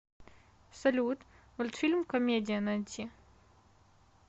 салют мультфильм комедия найти